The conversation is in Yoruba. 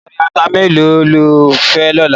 Apèrè àtá méló ló fè lòlá?